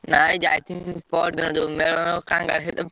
ନାଇଁ ଯାଇଥିଲୁ ପଅରଦିନ ଯୋଉ ମେଳଣ